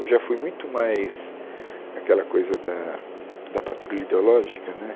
Eu já fui muito mais aquela coisa da da patrulha ideológica né.